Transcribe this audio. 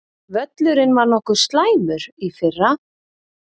Völlurinn var nokkuð slæmur í fyrra?